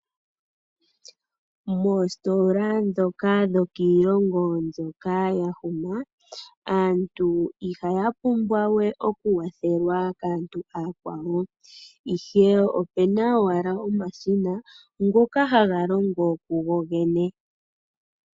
Moositola dhoka dhokiilongo mbyoka yahuma, aantu ihaya pumbwa we okuwathelwa kaantu aakwawo ihe opena owala omashina ngoka haga longo kukogene.